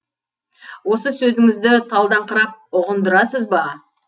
осы сөзіңізді талдаңқырап ұғындырасыз ба